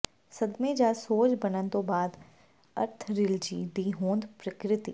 ਸਦਮੇ ਜਾਂ ਸੋਜ ਬਣਨ ਤੋਂ ਬਾਅਦ ਆਰਥਰਿਲਜੀ ਦੀ ਹੋਂਦ ਪ੍ਰਕਿਰਤੀ